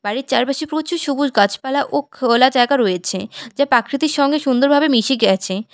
বাড়ির চারপাশে প্রচুর সবুজ গাছপালা ও খোলা জায়গা রয়েছে যা প্রাকৃতির সঙ্গে সুন্দরভাবে মিশে গেছে।